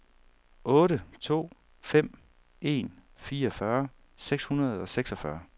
otte to fem en fireogfyrre seks hundrede og seksogfyrre